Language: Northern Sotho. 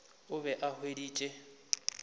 o be a e hweditše